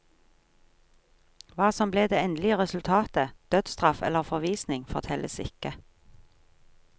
Hva som ble det endelige resultatet, dødstraff eller forvisning fortelles ikke.